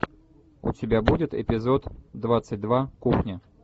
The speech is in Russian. у тебя будет эпизод двадцать два кухня